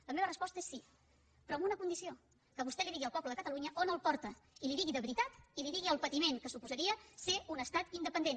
la meva resposta és sí però amb una condició que vostè digui al poble de catalunya on el porta i li ho digui de veritat i que li digui el patiment que suposaria ser un estat independent